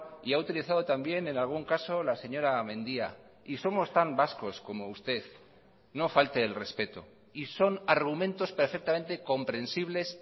y ha utilizado también en algún caso la señora mendia y somos tan vascos como usted no falte el respeto y son argumentos perfectamente comprensibles